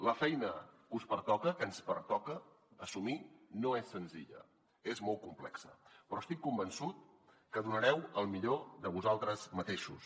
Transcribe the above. la feina que us pertoca que ens pertoca assumir no és senzilla és molt complexa però estic convençut que donareu el millor de vosaltres mateixos